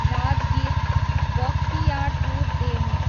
Rajgir, Bakhtiyarpur DEMU